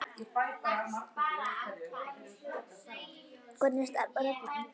Hvernig starfar reglan?